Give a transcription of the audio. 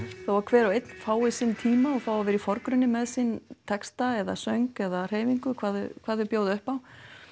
þó að hver og einn fái sinn tíma og fái að vera í forgrunni með sinn texta eða söng eða hreyfingu hvað þau hvað þau bjóða upp á